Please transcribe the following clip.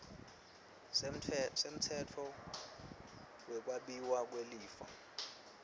semtsetfo wekwabiwa kwelifa